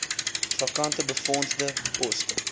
vakante befondsde poste